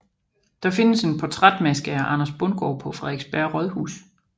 Der findes en portrætmaske af Anders Bundgaard på Frederiksberg Rådhus